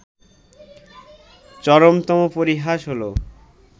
চরমতম পরিহাস হলো